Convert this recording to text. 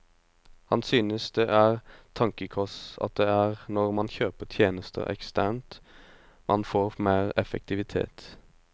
Han synes det er tankekors at det er når man kjøper tjenester eksternt man får mer effektivitet.